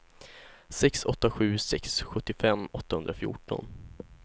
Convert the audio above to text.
sex åtta sju sex sjuttiofem åttahundrafjorton